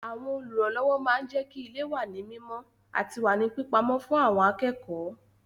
Àwọn Olùrànlọ́wọ́ máa ń jẹ́kí ilé wà ní mímọ àti wà ní pípa ọ́ fún àwọn akẹ́kọ̀ọ́